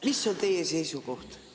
Mis on teie seisukoht?